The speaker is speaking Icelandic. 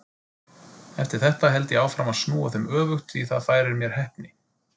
Eftir þetta held ég áfram að snúa þeim öfugt því það færir mér heppni.